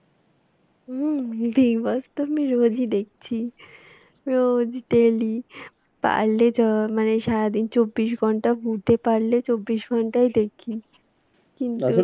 হুম big boss তো আমি রোজই দেখছি। রোজ daily পারলে মানে সারাদিন চব্বিশ ঘন্টা Voot এ পারলে চব্বিশ ঘন্টাই দেখি। কিন্তু,